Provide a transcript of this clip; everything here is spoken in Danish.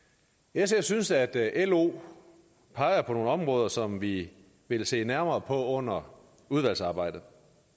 sf synes at at lo peger på nogle områder som vi vil se nærmere på under udvalgsarbejdet